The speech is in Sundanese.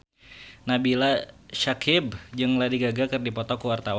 Nabila Syakieb jeung Lady Gaga keur dipoto ku wartawan